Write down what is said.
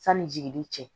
Sanni jigili cɛ